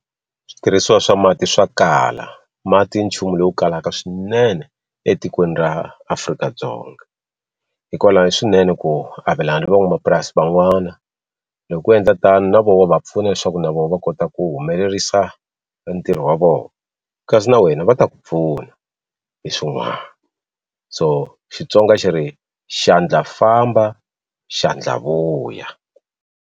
Switirhisiwa swa mati swa kala mati i nchumu lowu kalaka swinene etikweni ra Afrika-Dzonga hikwalani i swinene ku avelana ni van'wamapurasi van'wana loku endla tani na vo wa vapfuna leswaku na vo va kota ku humelerisa e ntirho wa vona kasi na wena va ta ku pfuna hi swin'wana so Xitsonga xi ri xandla famba xandla vuya.